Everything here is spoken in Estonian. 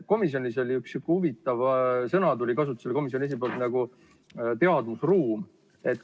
Komisjonis kasutas komisjoni esimees üht sihukest huvitavat sõna nagu "teadmusruum".